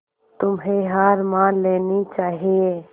तुम्हें हार मान लेनी चाहियें